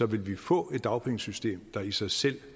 vil vi få et dagpengesystem der i sig selv